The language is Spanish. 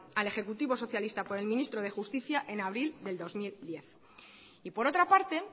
al ejecutivo socialista por el ministro de justicia en abril de dos mil diez y por otra parte